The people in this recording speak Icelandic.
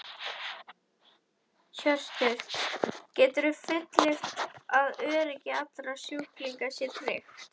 Hjörtur: Geturðu fullyrt að öryggi allra sjúklinga sé tryggt?